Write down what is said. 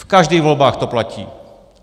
V každých volbách to platí.